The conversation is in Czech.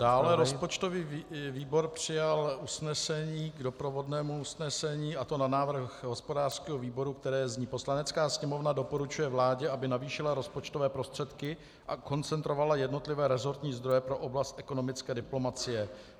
Dále rozpočtový výbor přijal usnesení k doprovodnému usnesení, a to na návrh hospodářského výboru, které zní: "Poslanecká sněmovna doporučuje vládě, aby navýšila rozpočtové prostředky a koncentrovala jednotlivé rezortní zdroje pro oblast ekonomické diplomacie."